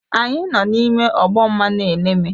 Anyị nọ n'ime ọgbọ mmanụ eleme